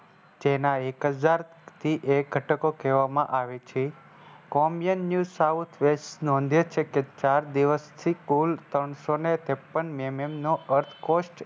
જેના એક હજારથી એક ઘટકો કેહવામાં આવે છે. Commune News South West નોંધે છે કે ચાર દિવસથી કુલ ત્રણસોને ત્રેપ્પન mm નો Earth coast